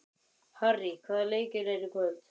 Harrý, hvaða leikir eru í kvöld?